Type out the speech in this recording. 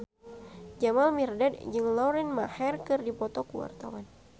Jamal Mirdad jeung Lauren Maher keur dipoto ku wartawan